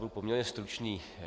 Budu poměrně stručný.